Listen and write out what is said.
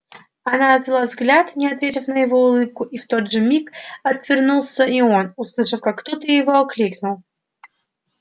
она отвела взгляд не ответив на его улыбку и в тот же миг отвернулся и он услышав как кто-то его окликнул